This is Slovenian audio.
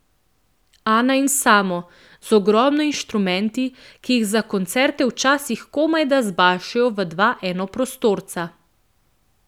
Ana in Samo, z ogromno inštrumenti, ki jih za koncerte včasih komajda zbašejo v dva enoprostorca.